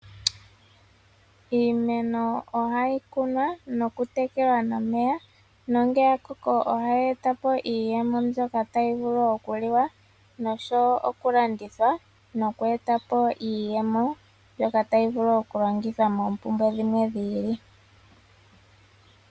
Iimeno ohayi kunwa nokutekelwa nomeya nongele ya koko ohayi eta po iiyemo mbyoka tayi vulu okuliwa nosho wo okulandithwa noku eta po iiyemo mbyoka tayi vulu okulongithwa moompumbwe dhimwe dhi ili.